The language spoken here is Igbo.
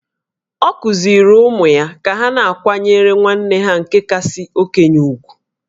Ọ kụziiri ụmụ ya ka ha na-akwanyere nwanne ha nke kasị okenye ùgwù